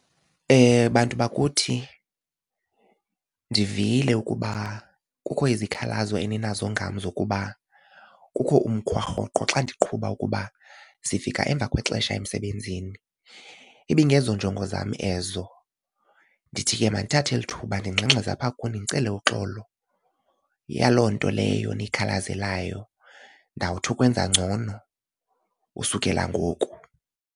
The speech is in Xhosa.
Bantu bakuthi ndivile ukuba kukho izikhalazo eninazo ngam zokuba kukho umkhwa rhoqo xa ndiqhuba ukuba sifika emva kwexesha emsebenzini. Ibingezonjongo zam ezo, ndithi ke mandithathe eli thuba ndingxengxeze apha kuni ndicele uxolo yaloo nto leyo niyikhalazelayo ndawuthi ukwenza ngcono usukela ngoku.